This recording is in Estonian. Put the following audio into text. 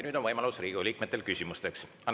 Nüüd on Riigikogu liikmetel võimalus küsida.